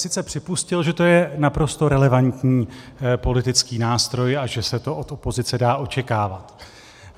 Sice připustil, že to je naprosto relevantní politický nástroj a že se to od opozice dá očekávat.